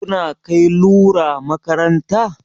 Kuna kai lura makaranta?